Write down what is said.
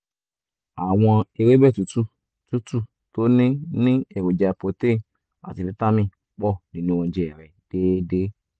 àwọn ewébẹ̀ tútù tútù tó ní ní èròjà protein àti fítámì pọ̀ nínú oúnjẹ rẹ déédéé